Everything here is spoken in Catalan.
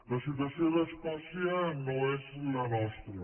la situació d’escòcia no és la nostra